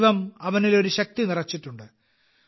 ദൈവം അവനിൽ ഒരു ശക്തി നിറച്ചിട്ടുണ്ട്